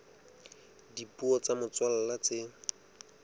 ya dipuo tsa motswalla tse